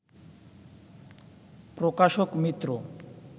প্রকাশক মিত্র